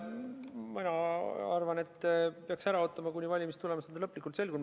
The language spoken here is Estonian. Mina arvan, et peaks ära ootama, kuni valimiste tulemused on lõplikult selgunud.